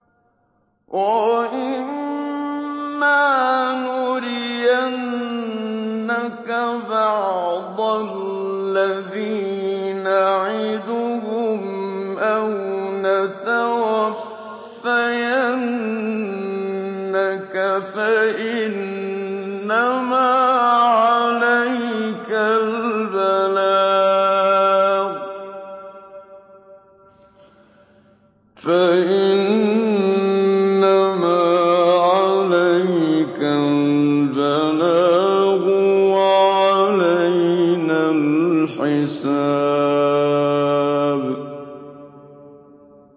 وَإِن مَّا نُرِيَنَّكَ بَعْضَ الَّذِي نَعِدُهُمْ أَوْ نَتَوَفَّيَنَّكَ فَإِنَّمَا عَلَيْكَ الْبَلَاغُ وَعَلَيْنَا الْحِسَابُ